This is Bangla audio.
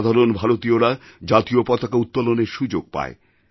সাধারণ ভারতীয়রা জাতীয় পতাকা উত্তোলনের সুযোগ পায়